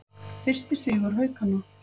Fyrsti sigur Haukanna